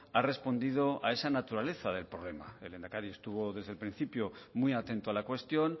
ha respondido a esa naturaleza del problema el lehendakari estuvo desde el principio muy atento a la cuestión